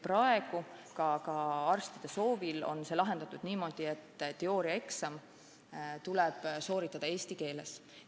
Praegu ka arstide soovil on see lahendatud niimoodi, et teooriaeksam tuleb sooritada eesti keeles.